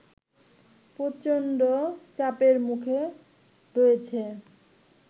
প্রচণ্ড চাপের মুখে রয়েছে